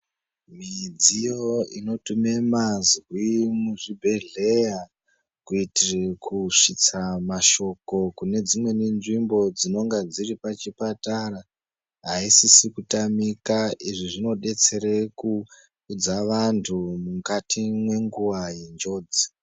Midziyo inotume mazwi muzvibhehleya kuitire kusvitsa mashoko kune dzimweni nzvimbo dzinenge dziri pachipatara aisisi kutamika. Izvi zvinodetsera kuudza vantu mukati mwenguva yenjodzi.